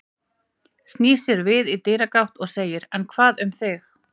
Snýr sér við í dyragátt og segir: En hvað um þig?